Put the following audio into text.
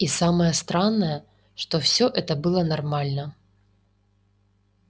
и самое странное что все это было нормально